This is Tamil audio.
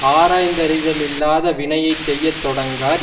ஆராய்ந்தறிதலில்லாத வினையை செய்ய தொடங்கார்